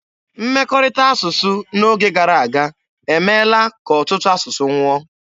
Mmekọrịta asụsụ n'oge gara aga emeela ka ọtụtụ asụsụ nwụọ.